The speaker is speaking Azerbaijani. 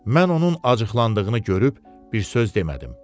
Mən onun acıqlandığını görüb bir söz demədim.